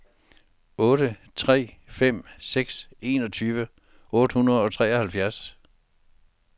otte tre fem seks enogtyve otte hundrede og treoghalvfjerds